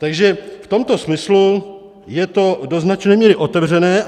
Takže v tomto smyslu je to do značné míry otevřené .